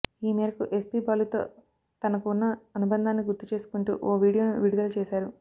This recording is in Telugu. ఈ మేరకు ఎస్పీ బాలుతో తనకు ఉన్న అనుబంధాన్ని గుర్తు చేసుకుంటూ ఓ వీడియోను విడుదల చేశారు